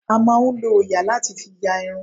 A máà ń lọ òòyà láti fi ya irun.